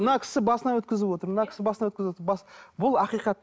мына кісі басынан өткізіп отыр мына кісі басынан бұл ақиқат